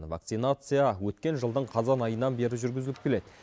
вакцинация өткен жылдың қазан айынан бері жүргізіліп келеді